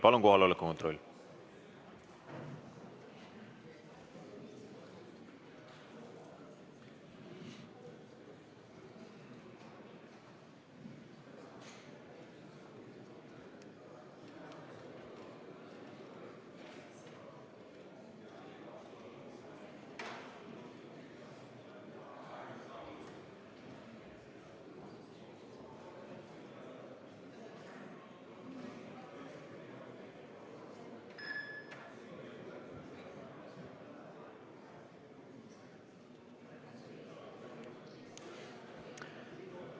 Palun kohaloleku kontroll!